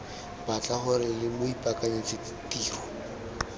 batla gore lo ipaakanyetse tiro